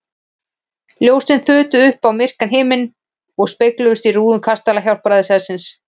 Ljósin þutu upp á myrkan himininn og spegluðust í rúðum kastala Hjálpræðishersins.